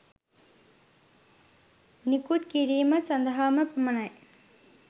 නිකුත් කිරීම සඳහාම පමණයි.